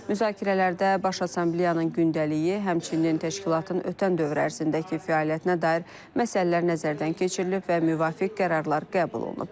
Müzakirələrdə Baş Assambleyanın gündəliyi, həmçinin təşkilatın ötən dövr ərzindəki fəaliyyətinə dair məsələlər nəzərdən keçirilib və müvafiq qərarlar qəbul olunub.